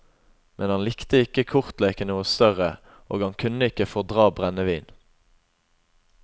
Men han likte ikke kortleken noe større, og han kunne ikke fordra brennevin.